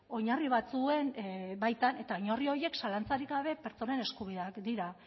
oinarri batzuen baitan eta oinarri horiek zalantzarik gabe pertsonen eskubideak dira